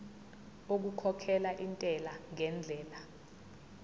okukhokhela intela ngendlela